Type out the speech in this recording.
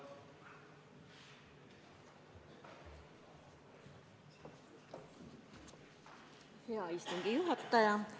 Hea istungi juhataja!